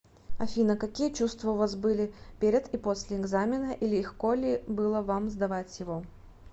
афина какие чувства у вас были перед и после экзамена и легко ли было вам сдавать его